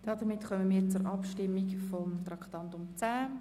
Damit kommen wir zur Abstimmung über Traktandum 10.